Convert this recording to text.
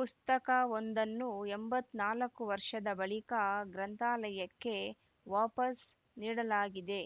ಪುಸ್ತಕವೊಂದನ್ನು ಎಂಬತ್ತ್ ನಾಲ್ಕು ವರ್ಷದ ಬಳಿಕ ಗ್ರಂಥಾಲಯಕ್ಕೆ ವಾಪಸ್‌ ನೀಡಲಾಗಿದೆ